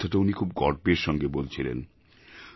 এই কথাটা উনি খুব গর্বের সঙ্গে বলছিলেন